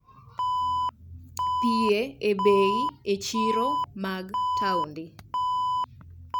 pie e bei e chiro mag taonde.